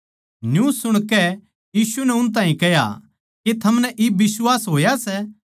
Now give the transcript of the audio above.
न्यू सुणकै यीशु नै उन ताहीं कह्या के थमनै इब बिश्वास होया सै